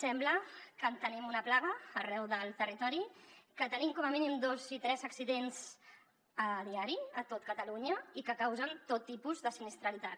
sembla que en tenim una plaga arreu del territori que tenim com a mínim dos i tres accidents diaris a tot catalunya i que causen tot tipus de sinistralitat